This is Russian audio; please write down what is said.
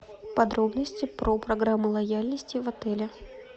подробности про программу лояльности в отеле